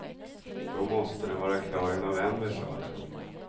Då måste den vara klar i november sade de.